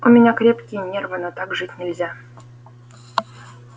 у меня крепкие нервы но так жить нельзя